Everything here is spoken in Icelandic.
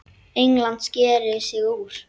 England sker sig úr.